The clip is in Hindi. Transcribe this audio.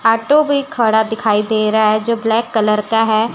हाटों भी खड़ा दिखाई दे रहा है जो ब्लैक कलर का है।